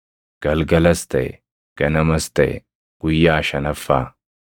Galgalas taʼe; ganamas taʼe; guyyaa shanaffaa.